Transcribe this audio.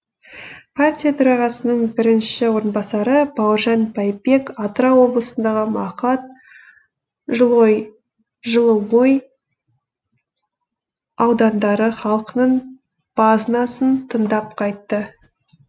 партия төрағасының бірінші орынбасары бауыржан байбек атырау облысындағы мақат жылыой аудандары халқының базынасын тыңдап қайтты